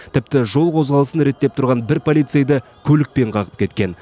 тіпті жол қозғалысын реттеп тұрған бір полицейді көлікпен қағып кеткен